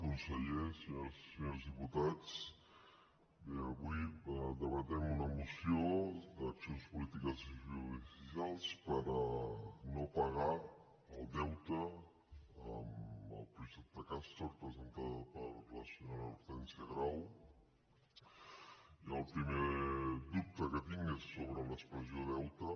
conseller senyores i se·nyors diputats bé avui debatem una moció d’accions polítiques i judicials per a no pagar el deute amb el projecte castor presentada per la senyora hortènsia grau i el primer dubte que tinc és sobre l’expressió deute